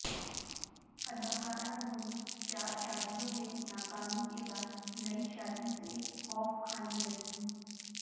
اداکارہ نور چار شادیوں میں ناکامی کے بعد نئی شادی سے خوف کھانے لگیں